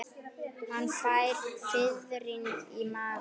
Hann fær fiðring í magann.